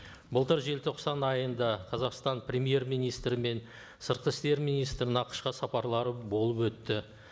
былтыр желтоқсан айында қазақстан премьер министрі мен сыртқы істер министрінің ақш қа сапарлары болып өтті